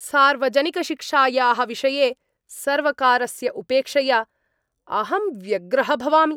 सार्वजनिकशिक्षायाः विषये सर्वकारस्य उपेक्षया अहं व्यग्रः भवामि।